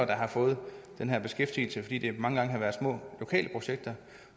der har fået den her beskæftigelse fordi det mange gange har været små lokale projekter